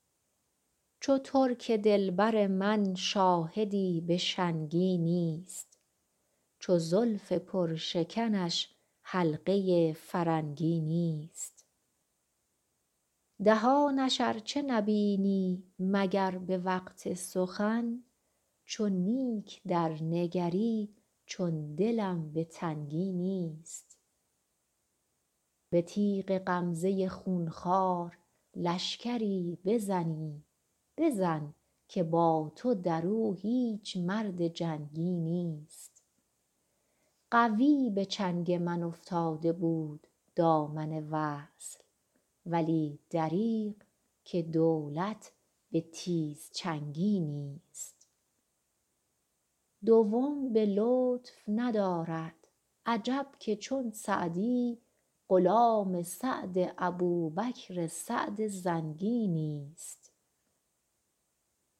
چو ترک دل بر من شاهدی به شنگی نیست چو زلف پرشکنش حلقه فرنگی نیست دهانش ار چه نبینی مگر به وقت سخن چو نیک درنگری چون دلم به تنگی نیست به تیغ غمزه خون خوار لشکری بزنی بزن که با تو در او هیچ مرد جنگی نیست قوی به چنگ من افتاده بود دامن وصل ولی دریغ که دولت به تیزچنگی نیست دوم به لطف ندارد عجب که چون سعدی غلام سعد ابوبکر سعد زنگی نیست